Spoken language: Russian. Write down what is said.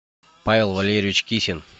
павел валерьевич кисин